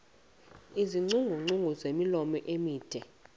iingcungcu ezimilomo mide